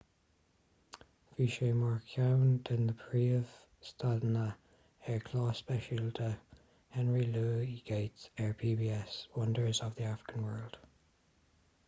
bhí sé mar cheann de na príomh-stadanna ar chlár speisialta henry louis gates ar pbs wonders of the african world